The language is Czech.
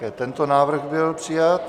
I tento návrh byl přijat.